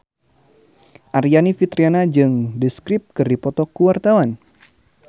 Aryani Fitriana jeung The Script keur dipoto ku wartawan